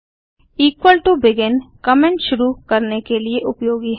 equal to begin comment शुरू करने के लिए उपयोगी है